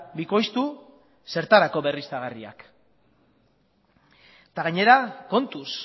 bikoiztu zertarako berriztagarriak eta gainera kontuz